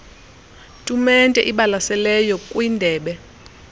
tumente ibalaseleyo kwindebe